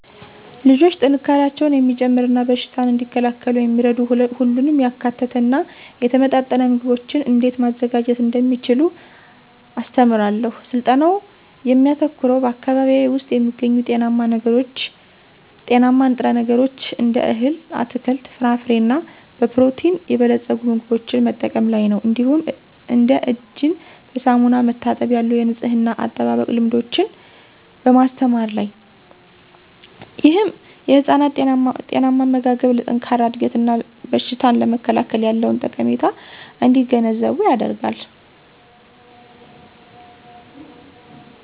ልጆች ጥንካሬያቸውን የሚጨምር እና በሽታን እንዲከላከሉ የሚረዱ ሁሉንም ያካተተ እና የተመጣጠነ ምግቦችን እንዴት ማዘጋጀት እንደሚችሉ አስተምራለሁ። ስልጠናው የሚያተኩረው በአካባቢዬ ውስጥ የሚገኙ ጤናማ ንጥረ ነገሮችን እንደ እህል፣ አትክልት፣ ፍራፍሬ እና በፕሮቲን የበለጸጉ ምግቦችን መጠቀም ላይ ነው። እንዲሁም እንደ እጅን በሳሙና መታጠብ ያሉ የንፅህና አጠባበቅ ልምዶችን በማስተማር ላይ። ይህም ህፃናት ጤናማ አመጋገብ ለጠንካራ እድገት እና በሽታን ለመከላከል ያለውን ጠቀሜታ እንዲገነዘቡ ይረዳል።